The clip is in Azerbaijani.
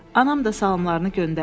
Anam da salamlarını göndərdi.